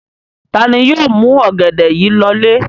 Ta ni yóò mú ọ̀gẹ̀dẹ̀ yìí lọlé?